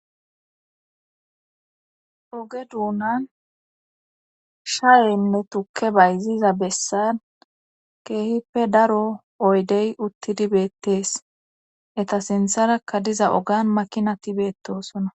oge duunan shaeynne tukke bayziza bessan keehippe daro oydey uttidi beettees eta sintharakka diza ogan makinati beettosona